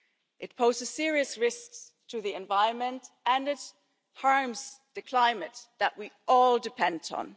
past. It poses serious risks to the environment and it harms the climate that we all depend